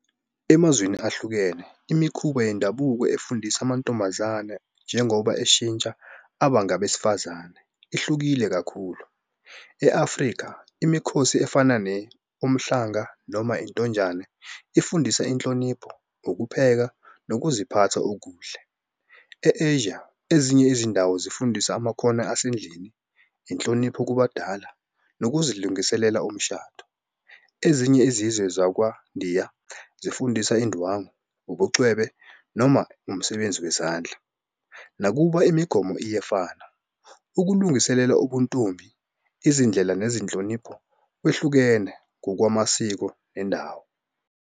Emazweni ahlukene imikhuba yendabuko efundisa amantombazane njengoba eshintsha aba ngabesifazane. Ihlukile kakhulu e-Afrika imikhosi efana ne-umhlanga noma intonjane ifundisa inhlonipho, ukupheka, nokuziphatha okuhle. E-Asia ezinye izindawo zifundisa amakhono asendlini, inhlonipho kubadala, nokuzilungiselela umshado. Ezinye izizwe zakwandiya zifundisa indwangu, ubucwebe, noma umsebenzi wezandla. Nakuba imigomo iyefana ukulungiselela ubuntombi izindlela nezinhlonipho kwehlukene ngokwamasiko nendawo.